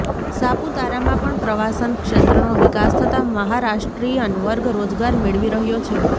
સાપુતારામાં પણ પ્રવાસન ક્ષેત્રનો વિકાસ થતા મહારાષ્ટ્રીયન વર્ગ રોજગાર મેળવી રહ્યો છે